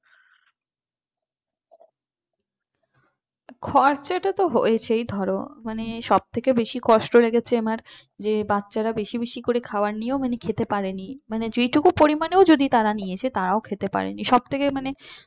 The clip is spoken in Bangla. খরচাটা তো হয়েছেই ধরো মানে সব থেকে বেশি কষ্ট লেগেছে আমার যে বাচ্চারা বেশি বেশি করে খাওয়া নিয়ে ও মানে খেতে পারেনি মানে যেটুকু পরিমাণেও যদি তারা নিয়েছে তারাও খেতে পারেনি সবথেকে মানে